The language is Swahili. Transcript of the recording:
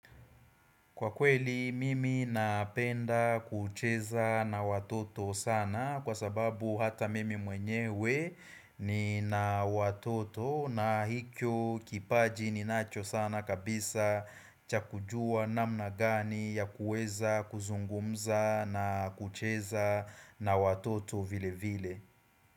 Kwa kweli mimi napenda kucheza na watoto sana kwa sababu hata mimi mwenyewe nina watoto na hicho kipaji ni nacho sana kabisa cha kujua namna gani ya kuweza kuzungumza na kucheza na watoto vile vile.